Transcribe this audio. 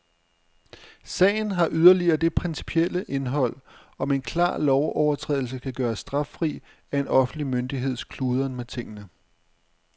Sagen har yderligere det principielle indhold, om en klar lovovertrædelse kan gøres straffri af en offentlig myndigheds kludren med tingene.